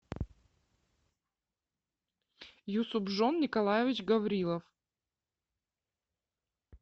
юсупжон николаевич гаврилов